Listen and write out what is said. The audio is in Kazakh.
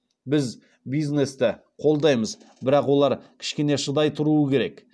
біз бизнесті қолдаймыз бірақ олар кішкене шыдай тұруы керек